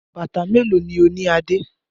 Bàtà mélòó ni ó ní Adé?